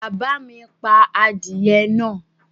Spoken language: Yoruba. Bàbá mi pa adìẹ náà?